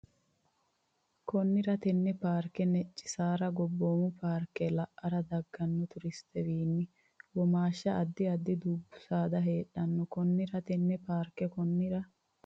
Konnira tenne paarke Necci saar gobboomu paarke ara dagganno turistewiinni womaashsha addi addi dubbu saada heedhanno Konnira tenne paarke Konnira.